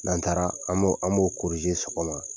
N'an taara an b'o sɔgɔma.